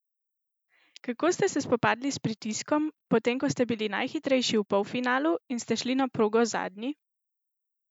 Kako ste se spopadli s pritiskom, potem ko ste bili najhitrejši v polfinalu in ste šli na progo zadnji?